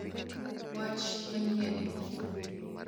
Wach manyien!